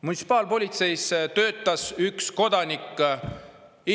Munitsipaalpolitseis töötas katseajal üks kodanik, kes oli Indrek Saare sugulane.